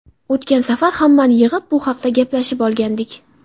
O‘tgan safar hammani yig‘ib bu haqda gaplashib olgandik.